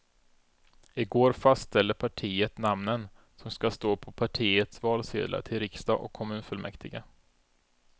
I går fastställde partiet namnen som skall stå på partiets valsedlar till riksdag och kommunfullmäktige.